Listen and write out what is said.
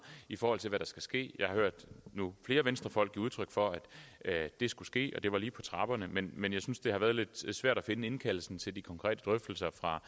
i forhold til hvad der skal ske jeg har hørt flere venstrefolk give udtryk for at det skulle ske og at det var lige på trapperne men men jeg synes det har været lidt svært at finde indkaldelsen til de konkrete drøftelser fra